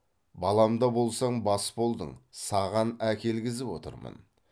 балам да болсаң бас болдың саған әкелгізіп отырмын